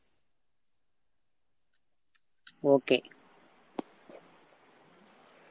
okay